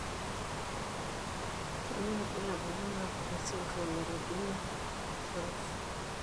Kainyio irbulabul onaapuku esindirom eRobinow Sorauf?